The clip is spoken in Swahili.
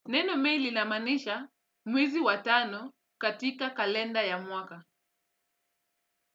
Neno may lilamanisha mwezi watano katika kalenda ya mwaka.